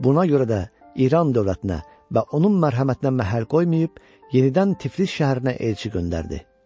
Buna görə də İran dövlətinə və onun mərhəmətinə məhəl qoymayıb, yenidən Tiflis şəhərinə elçi göndərdi.